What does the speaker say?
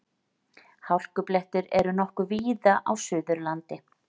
Hálkublettir eru nokkuð víða á Suðurlandi